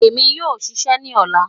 Emi yoo ṣiṣẹ ni ọla